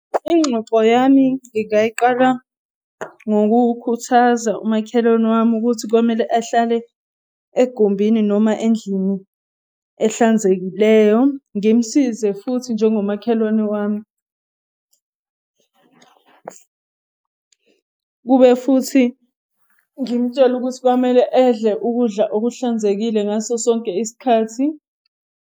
Ingxoxo yami ngingayiqala ngokukhuthaza umakhelwane wami ukuthi komele ahlale egumbini noma endlini ehlanzekileyo. Ngimsize futhi njengomakhelwane wami. Kube futhi ngimutshele ukuthi kwamele edle ukudla kuhlanzekile ngaso sonke isikhathi.